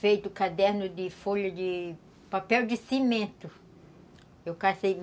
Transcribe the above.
Feito caderno de folha de papel de cimento.